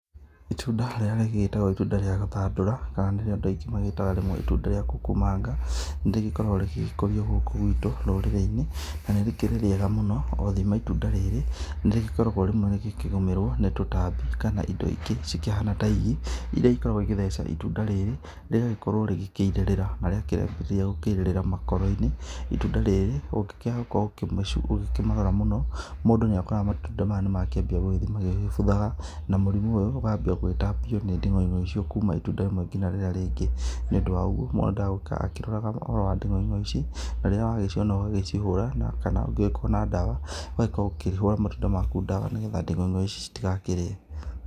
Itunda rĩrĩa rĩgĩtagwo itunda rĩa gũthandũra kana nĩrĩo andũ aingĩ magĩtaga rĩmwe itunda rĩa kukumanga. Nĩ rĩgĩkoragwo rĩgĩkũrio gũku gwitũ rũrĩrĩ-inĩ na nĩrĩkĩrĩ rĩega mũno. Othima itunda rĩrĩ nĩ rĩgĩkoragwo rĩmwe rĩkĩgũmĩrwo nĩ tũtambi kana indo ingĩ cikĩhana ta igi, irĩa ikoragwo igĩgĩtheca itunda rĩrĩ rĩgagĩkorwo rĩgikĩirĩrĩra. Na rĩakĩambia gũkĩirĩrĩra makoro-inĩ itunda rĩrĩ ũngĩkĩaha gũkorwo ũkĩmarora mũno mũndũ nĩ akoraga matunda maya nĩ makĩambia gũgĩthiĩ magĩbuthaga. Na mũrimũ ũyũ ũkambia gũgĩtambio nĩ nding'oing'o icio kuma itunda rĩmwe ngina rĩrĩa rĩngĩ. Nĩ ũndũ wa ũguo mũndũ endaga gũikara akĩroraga ũhoro wa nding'oing'o ici, na rĩrĩa wagiciona ũgagĩcihũra. Kana ũngĩgĩkorwo na ndawa ũgakĩhũra matunda maku ndawa, nĩgetha nding'oing'o ici citigakĩrĩe.